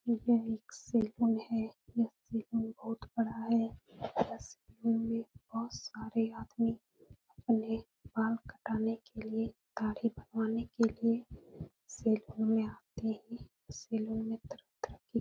यह एक सलून है। यह सलून बहोत बड़ा है। यह सलून मे बहोत सारे आदमी बाल कटाने के लिए दाढ़ी बनवाने के लिए सलून मे आते हैं। सलून में तरह तरह की --